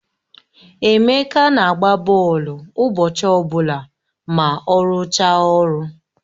Emeka na-agba bọọlụ ụbọchị ọbụla ma ọ rụchaa ọrụ